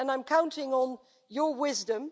I am counting on your wisdom.